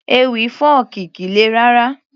Ewì fọ́ọ̀kì kìí le rárá